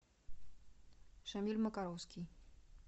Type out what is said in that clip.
шамиль макаровский